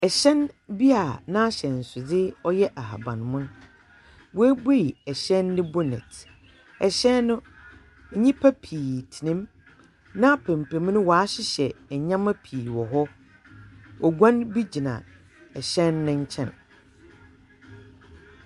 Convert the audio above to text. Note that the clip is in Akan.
Hyɛn bi a n'ahyɛnsedze yɛ ahaban mon. wɔabuei hyɛn no bonnet. Hyɛn no, nnipa pii tsenam. N'apampam no wɔahyehyɛ nneɛma pii wɔ hɔ. Oguan bi gyina hyɛn no nkyɛn.